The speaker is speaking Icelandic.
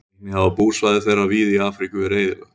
Einnig hafa búsvæði þeirra víða í Afríku verið eyðilögð.